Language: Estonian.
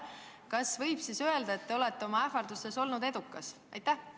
Kas võib siis öelda, et te olete oma ähvardustes olnud edukas?